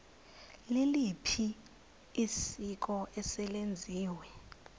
liliphi isiko eselenziwe